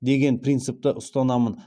деген принципті ұстанамын